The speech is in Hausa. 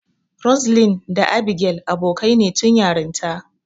Roseline da Abigail abokaine tun yarinta.